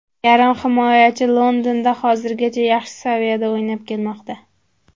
Yarim himoyachi Londonda hozirgacha yaxshi saviyada o‘ynab kelmoqda.